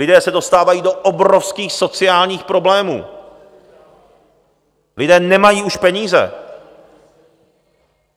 Lidé se dostávají do obrovských sociálních problémů, lidé už nemají peníze.